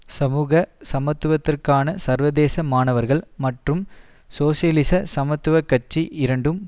சமூக சமத்துவத்திற்கான சர்வதேச மாணவர்கள் மற்றும் சோசியலிச சமத்துவ கட்சி இரண்டும்